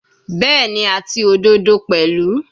Bẹ́ẹ̀ni, àti òdodo pẹ̀lú.